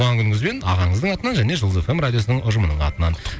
туған күніңізбен ағаңыздың атынан және жұлдыз эф эм радиосының ұжымының атынан